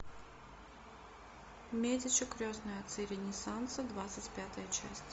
медичи крестные отцы ренессанса двадцать пятая часть